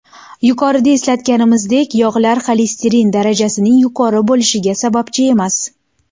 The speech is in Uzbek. Yuqorida eslatganimizdek, yog‘lar xolesterin darajasining yuqori bo‘lishiga sababchi emas.